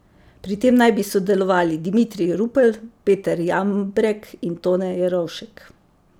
Pri tem naj bi sodelovali Dimitrij Rupel, Peter Jambrek in Tone Jerovšek.